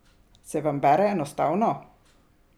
Se vam bere enostavno?